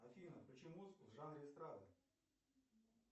афина включи музыку в жанре эстрада